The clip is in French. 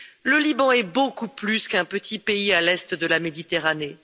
Le Liban est beaucoup plus qu'un petit pays à l'est de la Méditerranée.